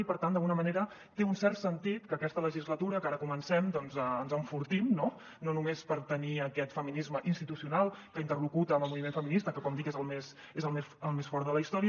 i per tant d’alguna manera té un cert sentit que aquesta legislatura que ara comencem doncs ens enfortim no no només perquè tenim aquest feminisme institucional que interlocuta amb el moviment feminista que com dic és el més fort de la història